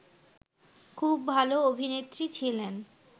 খুব ভালো অভিনেত্রী ছিলেন